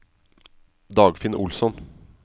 Dagfinn Olsson